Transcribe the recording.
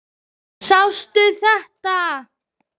Sástu þetta?